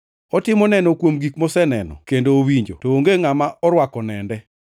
Otimo neno kuom gik moseneno kendo owinjo, to onge ngʼama orwako nende.